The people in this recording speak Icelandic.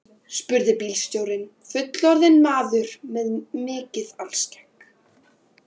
spurði bílstjórinn, fullorðinn maður með mikið alskegg.